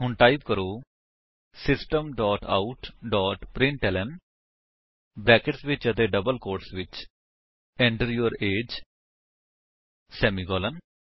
ਹੁਣ ਟਾਈਪ ਕਰੋ system dot out dot println brackets ਵਿੱਚ ਅਤੇ ਡਬਲ ਕੋਟਸ ਵਿੱਚ Enter ਯੂਰ ਏਜੀਈ ਸੇਮੀਕਾਲਨ